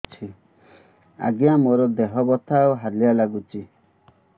ଆଜ୍ଞା ମୋର ଦେହ ବଥା ଆଉ ହାଲିଆ ଲାଗୁଚି